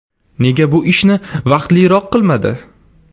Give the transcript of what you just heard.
Nega bu ishni vaqtliroq qilmadi?